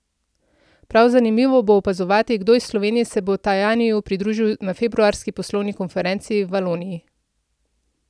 Prav zanimivo bo opazovati, kdo iz Slovenije se bo Tajaniju pridružil na februarski poslovni konferenci v Valoniji.